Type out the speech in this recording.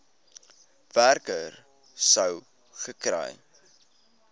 werker sou gekry